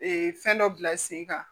fɛn dɔ bila sen kan